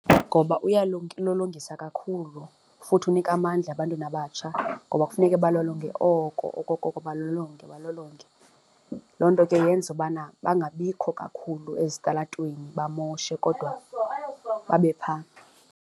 Ngoba uyalulongisa kakhulu futhi unika amandla ebantwini abatsha ngoba kufuneke balolonge oko okokoko balolonge balolonge, loo nto ke yenza ubana bangabikho kakhulu ezitalatweni bamoshe kodwa babe phaa.